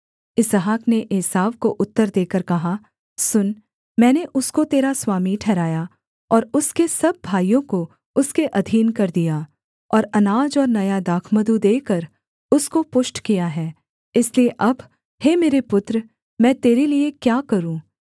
इसहाक ने एसाव को उत्तर देकर कहा सुन मैंने उसको तेरा स्वामी ठहराया और उसके सब भाइयों को उसके अधीन कर दिया और अनाज और नया दाखमधु देकर उसको पुष्ट किया है इसलिए अब हे मेरे पुत्र मैं तेरे लिये क्या करूँ